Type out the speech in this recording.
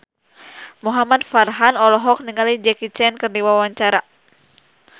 Muhamad Farhan olohok ningali Jackie Chan keur diwawancara